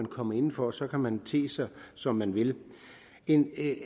komme inden for og så kan man te sig som man vil en